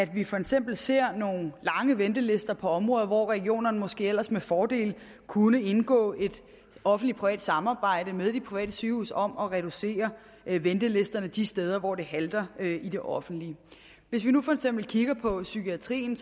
vi for eksempel ser nogle lange ventelister på områder hvor regionerne måske ellers med fordel kunne indgå i et offentlig privat samarbejde med de private sygehuse om at reducere ventelisterne de steder hvor det halter i det offentlige hvis vi nu for eksempel kigger på psykiatrien